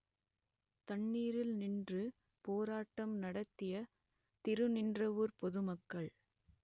தண்ணீரில் நின்று போராட்டம் நடத்திய திருநின்றவூர் பொது மக்கள்